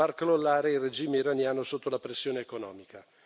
Realisticamente non vincerà soprattutto la terza scommessa.